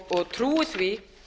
og trúi því